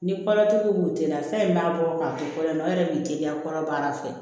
Ni kɔrɔtigi b'u teliya fɛn min b'a bɔ k'a di fɔlɔ ma o yɛrɛ b'i teliya kɔnɔ baara fɛ